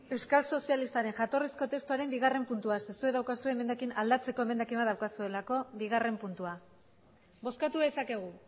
euskal sozialistaren jatorrizko testuaren bigarren puntua zuek daukazue emendakin aldatzeko emendakina daukazuelako bigarren puntua bozkatu dezakegu